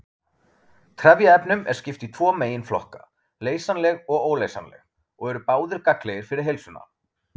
Trefjaefnum er skipt í tvo meginflokka- leysanleg og óleysanleg- og eru báðir gagnlegir fyrir heilsuna.